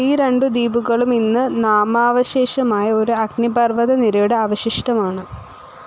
ഈ രണ്ടു ദ്വീപുകളും ഇന്ന് നാമാവശേഷമായ ഒരു അഗ്നിപർ‌വ്വത നിരയുടെ അവശിഷ്ടം ആണ്.